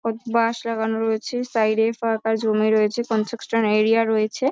বাঁশ লাগানো রয়েছে সাইড - এ ফাঁকা জমি রয়েছে। কনস্ট্রাকশন এরিয়া রয়েছে ।